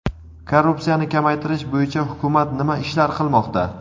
Korrupsiyani kamaytirish bo‘yicha hukumat nima ishlar qilmoqda?.